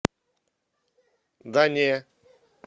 да не